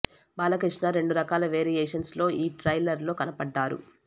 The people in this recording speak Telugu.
బాలకృష్ణ రెండు రకాల వేరియేషన్స్ లో ఈ ట్రైలర్ లో కనపడ్డారు